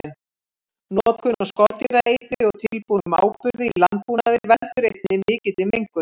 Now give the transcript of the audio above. Notkun á skordýraeitri og tilbúnum áburði í landbúnaði veldur einnig mikilli mengun.